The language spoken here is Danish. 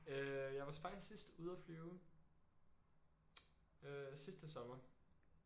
Øh jeg var faktisk sidst ude og flyve øh sidste sommer